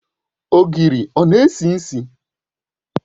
Ogiri ọ na-esi isi?